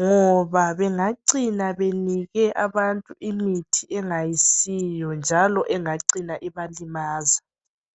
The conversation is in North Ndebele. ngoba bengacina benike abantu imithi angayisiwo njalo engacina ibalimaza.